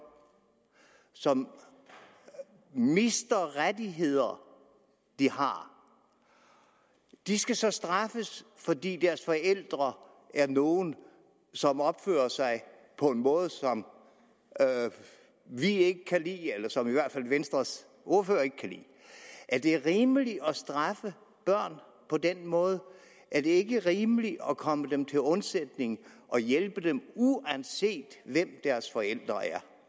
som mister rettigheder de har de skal så straffes fordi deres forældre er nogle som opfører sig på en måde som vi ikke kan lide eller som i hvert fald venstres ordfører ikke kan lide er det rimeligt at straffe børn på den måde er det ikke rimeligt at komme dem til undsætning og hjælpe dem uanset hvem deres forældre